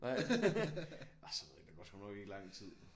Nej og sådan noget der går sgu nok ikke lang tid